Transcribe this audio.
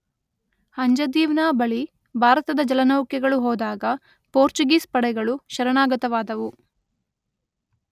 ಅಂಜದೀವ್ನ ಬಳಿ ಭಾರತದ ಜಲನೌಕೆಗಳು ಹೋದಾಗ ಪೋರ್ಚುಗೀಸ್ ಪಡೆಗಳು ಶರಣಾಗತವಾದವು.